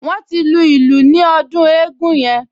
Wọ́n ti lu ìlù ní ọdún eégún yẹn